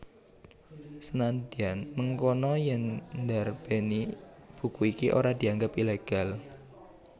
Senadyan mengkono yèn ndarbèni buku iki ora dianggep ilegal